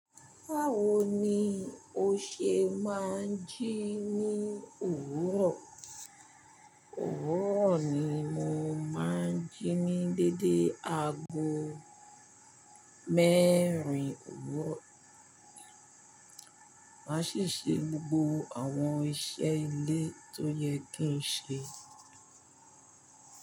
Báwo ni o ṣe máa ń jí ní òwúrọ̀? Òwúrọ̀ ni mo máa ń jí ní dédé aago mẹ́rin òwúrọ̀, màá sì ṣe gbogbo àwọn iṣẹ́ ilé tó yẹ kí n ṣe.